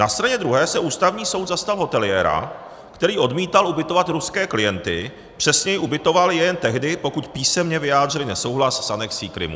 Na straně druhé se Ústavní soud zastal hoteliéra, který odmítal ubytovat ruské klienty, přesněji ubytoval je jen tehdy, pokud písemně vyjádřili nesouhlas s anexí Krymu.